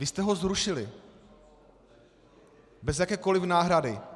Vy jste ho zrušili bez jakékoliv náhrady.